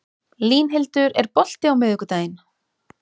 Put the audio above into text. Línhildur, er bolti á miðvikudaginn?